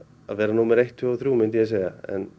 vera númer eitt tvö og þrjú myndi ég segja